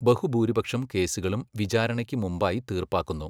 ബഹുഭൂരിപക്ഷം കേസുകളും വിചാരണയ്ക്ക് മുമ്പായി തീർപ്പാക്കുന്നു.